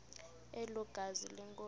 elo gazi lenkosi